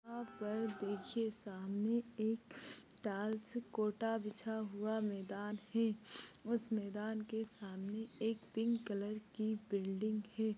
यहाँ पर देखिये सामने एक टाइल्स कोटा बिछा हुआ मैदान है उस मैदान के सामने एक पिंक कलर की बिल्डिंग है।